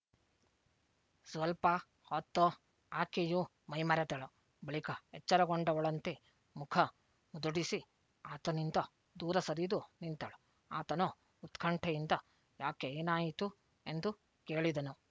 ಸ್ವಲ್ಪ ಹೊತ್ತು ಆಕೆಯೂ ಮೈ ಮರೆತಳು ಬಳಿಕ ಎಚ್ಚರಗೊಂಡವಳಂತೆ ಮುಖ ಮುದುಡಿಸಿ ಆತನಿಂದ ದೂರ ಸರಿದು ನಿಂತಳು ಆತನು ಉತ್ಕಂಠೆಯಿಂದ ಯಾಕೆ ಏನಾಯಿತು ಎಂದು ಕೇಳಿದನು